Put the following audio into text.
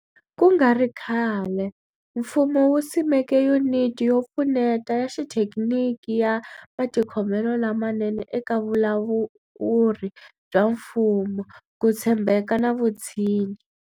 Ku nga ri khale, mfumo wu simeke Yuniti yo Pfuneta ya Xithekiniki ya Matikhomelo lamanene eka Vulawuri bya Mfumo, Ku tshembeka na Vutshinyi.